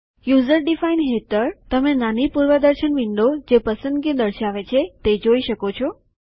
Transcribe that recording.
user defined હેઠળ તમે નાની પૂર્વદર્શન વિન્ડો જે પસંદગી દર્શાવે છે તે જોઈ શકો છો